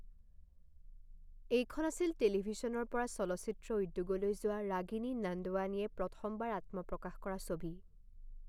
এইখন আছিল টেলিভিশ্যনৰ পৰা চলচ্চিত্ৰ উদ্যোগলৈ যোৱা ৰাগিনী নন্দৱানীয়ে প্ৰথমবাৰ আত্মপ্ৰকাশ কৰা ছবি।